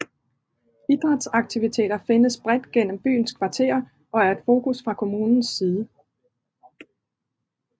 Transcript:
Idrætsaktiviteter findes bredt gennem byens kvarterer og er et fokus fra kommunens side